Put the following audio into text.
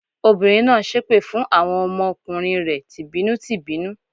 Obìnrin náà ń ṣépè fún àwọn ọmọ kùnrin rẹ̀ tì bínú tì bínú.